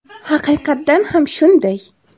Haqiqatdan ham shunday.